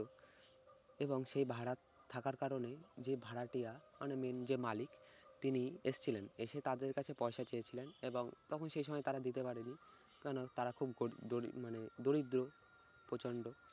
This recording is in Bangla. এবং সেই ভাড়া থাকার কারণেই যে ভাড়াটিয়া মানে main যে মালিক তিনি এসেছিলেন। এসে তাদের কাছে পয়সা চেয়েছিলেন এবং তখন সে সময় তারা দিতে পারেনি কারণ তারা খুব গরিব দরিব মানে দরিদ্র প্রচন্ড